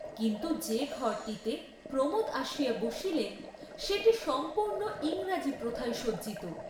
কিন্তু যে ঘরটিতে প্রমোদ আসিয়া বসিলেন সেটি সম্পূর্ণ ইংরাজি প্রথায় সজ্জিত।